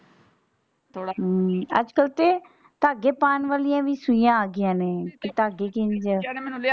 ਥੋੜਾ ਅਮ ਅਜਕਲ ਤੇ ਧਾਗੇ ਪਾਉਣ ਵਾਲੀਆਂ ਵੀ ਸੂਈਆਂ ਆ ਗਈਆਂ ਨੇ ਧਾਗੇ ਕਿੰਝ।